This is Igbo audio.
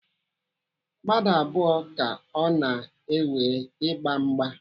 Mmadụ abụọ ka ọ na-ewe ịgba mgba.